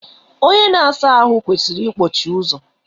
Onye na asa ahụ kwesịrị ikpọchi ụzọ.